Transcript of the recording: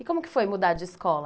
E como que foi mudar de escola?